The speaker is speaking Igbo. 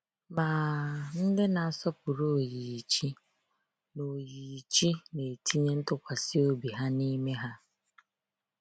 Ma ndị na asọpụrụ oyiyi chi na oyiyi chi na etinye ntụkwasị obi ha n’ime ha.